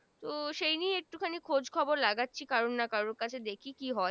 তো সেই নিয়ে একটু খানি খোজ খবর লাগাছি কারন না কারর কাছে দেখি কি হয়